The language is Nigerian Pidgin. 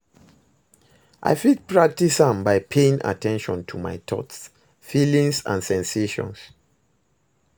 I fit practice am by paying at ten tion to my thoughts, feelings and sensations.